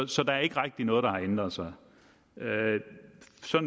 så der er ikke rigtig noget der har ændret sig